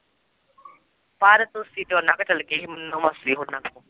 ਮਰ